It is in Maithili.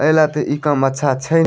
पेहला ते इ काम अच्छा छै।